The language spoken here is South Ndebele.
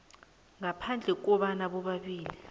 ngaphandle kobana bobabili